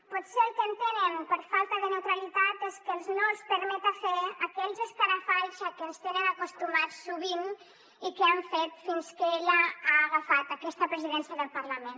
potser el que entenen per falta de neutralitat és que no els permeta fer aquells escarafalls a què ens tenen acostumats sovint i que han fet fins que ella ha agafat aquesta presidència del parlament